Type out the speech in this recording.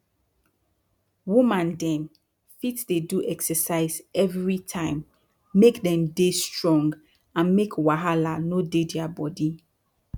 woman dem fit dey do exercise everi time make dem dey strong and make wahala no dey dia bodi